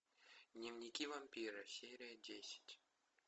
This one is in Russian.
дневники вампира серия десять